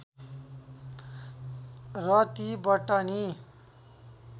र ती बटनी